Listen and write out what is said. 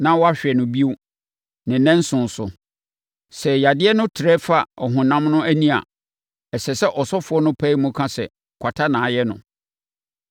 na wahwɛ no bio ne nnanson so. Sɛ yadeɛ no trɛ fa ɔhonam no ani a, ɛsɛ sɛ ɔsɔfoɔ no pae mu ka sɛ kwata ayɛ onipa no.